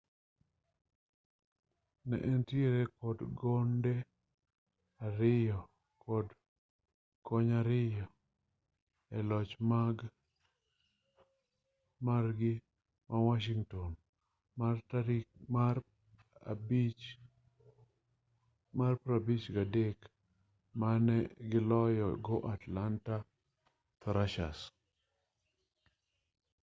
ne entiere kod gonde 2 kod kony 2 e loch margi ma washington mar 5-3 mane giloyo go atlanta thrashers